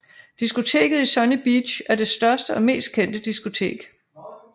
Diskoteket i Sunny Beach er det største og mest kendte diskotek